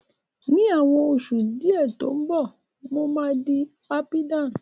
Ní àwọn oṣù tí ó ń bọ̀, mo máa di apidán